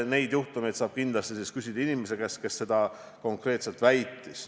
Selliste juhtumite kohta saab kindlasti küsida inimeste käest, kes konkreetseid väiteid on esitanud.